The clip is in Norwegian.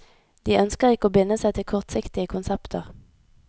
De ønsker ikke å binde seg til kortsiktige konsepter.